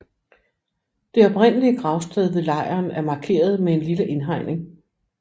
Det oprindelige gravsted ved lejren er markeret med en lille indhegning